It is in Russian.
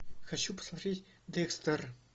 хочу посмотреть декстер